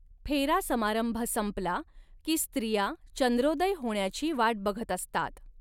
फेरा समारंभ संपला की स्त्रिया चंद्रोदय होण्याची वाट बघत असतात.